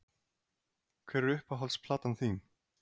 Hver er uppáhalds platan þín?